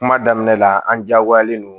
Kuma daminɛ la an diyagoyalen don